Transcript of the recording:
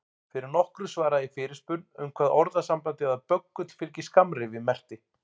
Fyrir nokkru svaraði ég fyrirspurn um hvað orðasambandið að böggull fylgi skammrifi merkti.